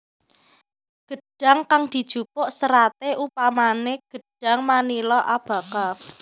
Gedhang kang dijupuk seraté umpamané gedhang manila abaca